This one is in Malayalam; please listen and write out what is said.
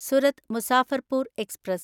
സുരത് മുസാഫർപൂർ എക്സ്പ്രസ്